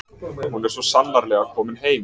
Hún er sannarlega komin heim.